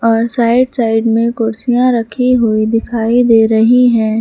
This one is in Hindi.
और साइड साइड में कुर्सियां रखीं हुई दिखाई दे रही है।